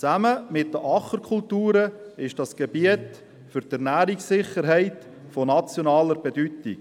Zusammen mit den Ackerkulturen ist das Gebiet für die Ernährungssicherheit von nationaler Bedeutung.